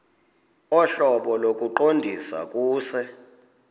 ohlobo lokuqondisa kuse